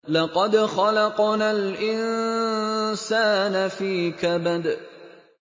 لَقَدْ خَلَقْنَا الْإِنسَانَ فِي كَبَدٍ